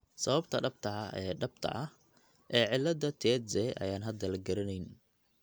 Sababta dhabta ah ee dhabta ah ee cillada Tietze ayaan hadda la garanayn.